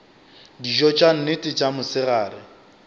dijo tša nnete tša mosegare